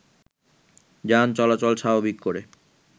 যান চলাচল স্বাভাবিক করে